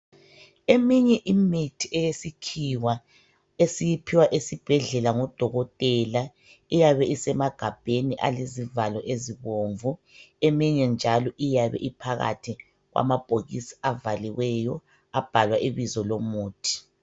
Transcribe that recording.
Eminye imithi eyesikhiwa esiyiphiwa esibhedlela ngodokotela eyabe isemagabheni elezivalo ezibomvu eminye njalo iyabe iphakathi kwamabhokisi avaliweyo abhala ibizo lomuthi.